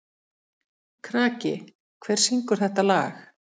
Kraki, hver syngur þetta lag?